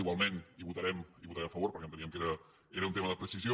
igualment hi votarem a favor perquè enteníem que era un tema de precisió